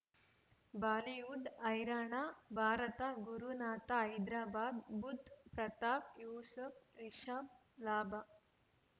Bollywood ಹೈರಾಣ ಭಾರತ ಗುರುನಾಥ ಹೈದರಾಬಾದ್ ಬುಧ್ ಪ್ರತಾಪ್ ಯೂಸುಫ್ ರಿಷಬ್ ಲಾಭ